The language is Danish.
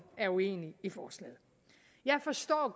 er uenig i forslaget jeg forstår